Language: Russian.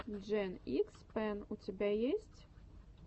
джен икс пен у тебя есть